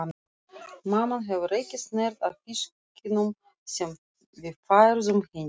Mamman hefur ekki snert á fiskinum sem við færðum henni.